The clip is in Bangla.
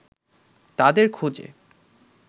তাদের খোঁজে